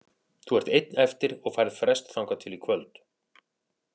Þú ert einn eftir og færð frest þangað til í kvöld.